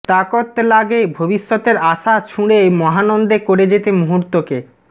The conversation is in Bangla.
তাকত লাগে ভবিষ্যতের আশা ছুঁড়ে মহানন্দে করে যেতে মুহূর্তকে